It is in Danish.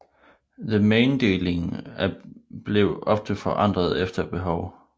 Themainddelingen blev ofte forandret efter behov